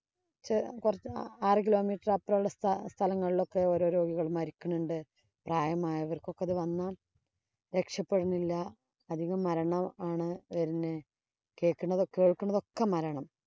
കൊറച്ചു ആറു kilometer അപ്പുറമുള്ള സ്ഥലങ്ങളിലൊക്കെ ഓരോ ഓരോ രോഗികള്‍ മരിക്കുന്നുണ്ട്. പ്രായമായവര്‍ക്കൊക്കെ ഇത് വന്നാല്‍ രക്ഷപ്പെടണില്ല. അധികം മരണമാണ് വരുന്നേ. കേക്കുണ കേക്കുണതൊക്കെ മരണം